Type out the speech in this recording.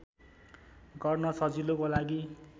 गर्न सजिलोको लागि